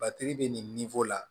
bɛ ninfo la